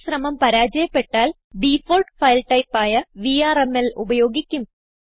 ഈ ശ്രമം പരാജയപ്പെട്ടാൽ ഡിഫാൾട്ട് ഫയൽ ടൈപ്പ് ആയ വിആർഎംഎൽ ഉപയോഗിക്കും